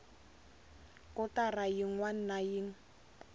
kotara yin wana na yin